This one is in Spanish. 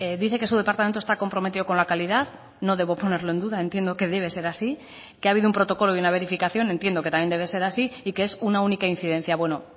dice que su departamento está comprometido con la calidad no debo ponerlo en duda entiendo que debe ser así que ha habido un protocolo y una verificación entiendo que también debe ser así y que es una única incidencia bueno